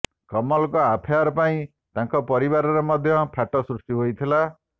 କମଲଙ୍କ affair ପାଇଁ ତାଙ୍କ ପରିବାରରେ ମଧ୍ୟ ଫାଟ ସୃଷ୍ଟି ହୋଇଥିଲା